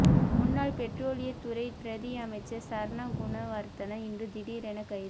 முன்னாள் பெற்றோலியத் துறை பிரதி அமைச்சர் சரண குணவர்த்தன இன்று திடீரெனக் கைது